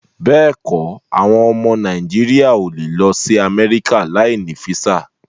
Béèkọ, àwọn ọmọ Nàìjíríà o lè lọ sí Amẹ́ríkà láì ní físà